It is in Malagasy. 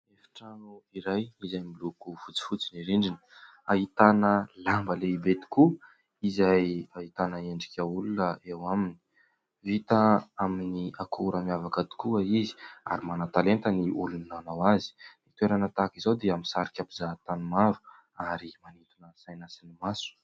Efitrano iray izay miloko fotsifotsy ny rindrina. Ahitana lamba lehibe tokoa izay ahitana endrika olona eo aminy. Vita amin'ny akora miavaka tokoa izy ary manan-talenta ny olona nanao azy. Ny toerana tahaka izao dia misarika mpizahatany maro ary manintona saina sy ny maso.